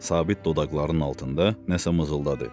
Sabit dodaqlarının altında nəsə mızıldadı.